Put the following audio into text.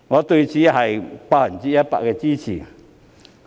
對此，我當然百分百支持。